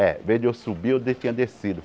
É em vez de eu subir, eu de tinha descido.